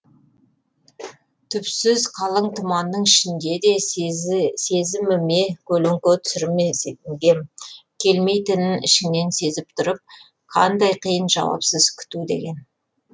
түпсіз қалың тұманның ішінде де сезіміме көлеңке түсірмегем келмейтінін ішіңнен сезіп тұрып қандай қиын жауапсыз күту деген